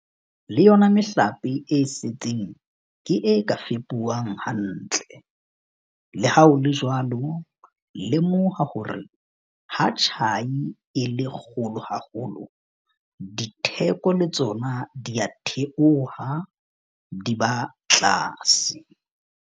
Le yona mehlape e setseng ke e ka fepuwang hantle. Le ha ho le jwalo, lemoha hore ha tjhai e le kgolo haholo, ditheko le tsona di a theoha, di ba tlase.